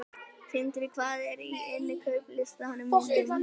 Tindri, hvað er á innkaupalistanum mínum?